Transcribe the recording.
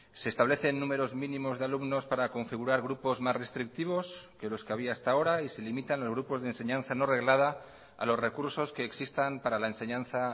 se establecen números mínimos de alumnos para configurar grupos más restrictivos que los que había hasta ahora y se limitan los grupos de enseñanza no reglada a los recursos que existan para la enseñanza